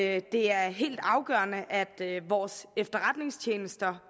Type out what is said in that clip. at det er helt afgørende at vores efterretningstjenester